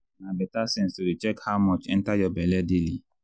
na better sense to dey check how much enter your belle daily.